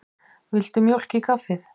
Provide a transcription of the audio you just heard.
Viltu mjólk í kaffið?